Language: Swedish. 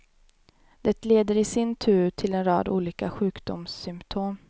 Det leder i sin tur till en rad olika sjukdomssymptom.